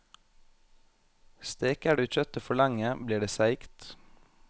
Steker du kjøttet for lenge, blir det seigt.